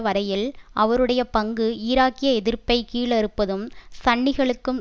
வரையில் அவருடைய பங்கு ஈராக்கிய எதிர்ப்பை கீழறுப்பதும் சன்னிகளுக்கும்